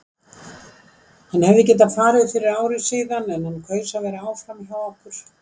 Hann hefði getað farið fyrir ári síðan en hann kaus að vera áfram hjá okkur.